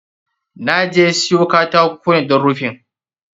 Na je siyo katako ne don rufin.